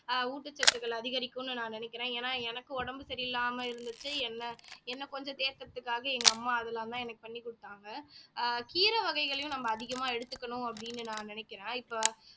ஊட்டச்சத்துக்கள் அதிகரிக்கும்னு நான் நினைக்கிறேன் ஏன்னா எனக்கு உடம்பு சரியில்லாம இருந்துச்சு என்ன என்னை கொஞ்சம் தேக்குறதுக்காக எங்க அம்மா அதெல்லாம்தான் எனக்கு பண்ணி கொடுத்தாங்க ஆஹ் கீரை வகைகளையும் நம்ம அதிகமா எடுத்துக்கணும் அப்படின்னு நான் நினைக்கிறேன் இப்ப